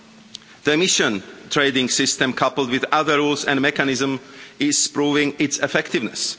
The emissions trading system coupled with other rules and mechanisms is proving its effectiveness.